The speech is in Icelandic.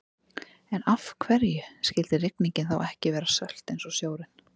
En af hverju skyldi rigningin þá ekki vera sölt eins og sjórinn?